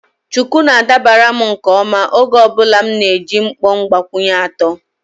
Shuku na-adabara m nke ọma oge ọ bụla m na-eji mkpọ mgbakwunye atọ.